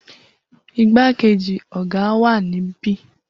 Igbakeji oga wa nibi